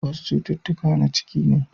Wasu cututtuka na ciki ne.